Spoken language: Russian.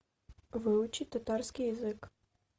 выучить татарский язык